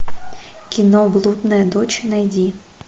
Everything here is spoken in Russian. кино блудная дочь найди